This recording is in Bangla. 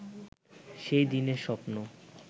সেই দিনের স্বপ্ন